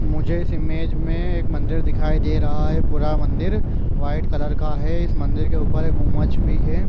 मुझे इस इमेज में एक मंदिर दिखाई दे रहा है पूरा मंदिर वाइट कलर का है इस मंदिर के ऊपर एक उमज भी है।